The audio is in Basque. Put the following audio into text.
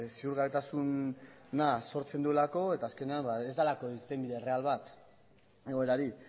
ziurgabetasuna sortzen duelako eta azkenean ez delako irtenbide erreal bat egoerari